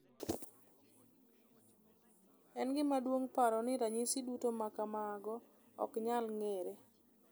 En gima duong’ paro ni ranyisi duto ma kamago ok nyal ng’ere.